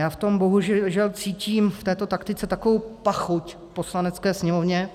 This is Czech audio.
Já v tom bohužel cítím, v této taktice, takovou pachuť v Poslanecké sněmovně,